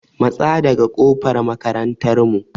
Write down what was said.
Matsa daga ƙofar makarantar mu!